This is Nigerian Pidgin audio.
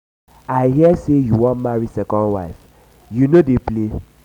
i hear say you wan marry second wife. you no dey play.